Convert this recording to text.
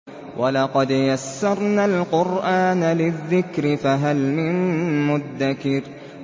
وَلَقَدْ يَسَّرْنَا الْقُرْآنَ لِلذِّكْرِ فَهَلْ مِن مُّدَّكِرٍ